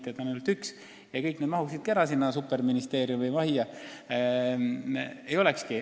Osakondi oleks ainult üks ja kõik need inimesed mahuksid ära sinna superministeeriumi majja.